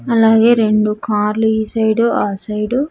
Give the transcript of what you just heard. అలాగే రెండు కార్లు ఈ సైడ్ ఆ సైడు .